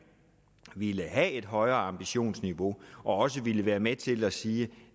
ville have et højere ambitionsniveau og også ville være med til at sige at